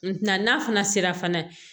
na n'a fana sera fana